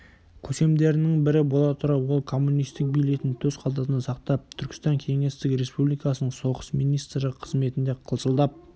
көсемдерінің бірі бола тұра ол коммунистік билетін төс қалтасында сақтап түркістан кеңестік республикасының соғыс министрі қызметінде қылшылдап